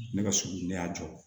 Ne ka sugu ne y'a jɔ